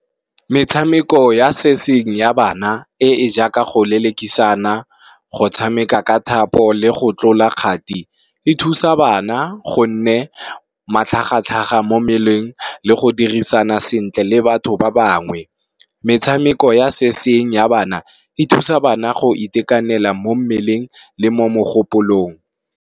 Metshameko ya se seng ya bana e e jaaka go lelekisana, go tshameka ka thapo, le go tlola kgati e thusa bana gonne matlhagatlhaga mo mmeleng le go dirisana sentle le batho ba bangwe. Metshameko ya se seng ya bana e thusa bana go itekanela mo mmeleng le mo mogopolong.